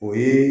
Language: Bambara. O ye